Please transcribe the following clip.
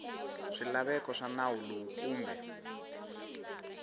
swilaveko swa nawu lowu kumbe